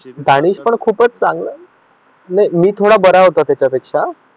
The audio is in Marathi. दानेश पण खूप चांगला नाही मी थोडा बरा होतो त्याच्या पेक्षा